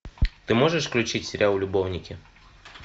ты можешь включить сериал любовники